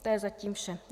To je zatím vše.